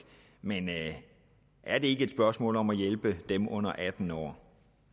men er det ikke et spørgsmål om at hjælpe dem under atten år